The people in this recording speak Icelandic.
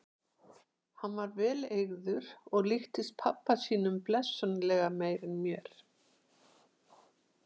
Hann var vel eygður og líktist pabba sínum blessunarlega meira en mér.